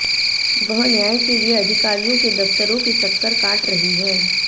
वह न्याय के लिए अधिकारियों के दफ्तरों के चक्कर काट रही है